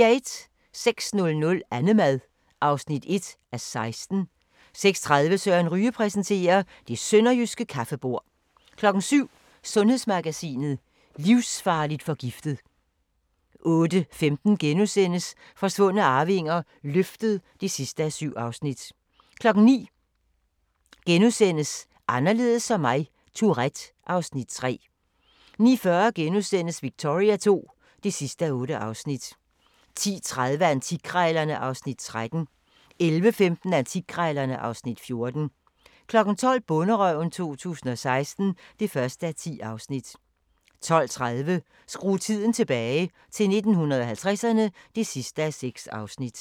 06:00: Annemad (1:16) 06:30: Søren Ryge præsenterer: Det sønderjyske kaffebord 07:00: Sundhedsmagasinet: Livsfarligt forgiftet 08:15: Forsvundne arvinger: Løftet (7:7)* 09:00: Anderledes som mig - Tourette (Afs. 3)* 09:40: Victoria II (8:8)* 10:30: Antikkrejlerne (Afs. 13) 11:15: Antikkrejlerne (Afs. 14) 12:00: Bonderøven 2016 (1:10) 12:30: Skru tiden tilbage – til 1950'erne (6:6)